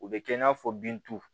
U bɛ kɛ i n'a fɔ bin tu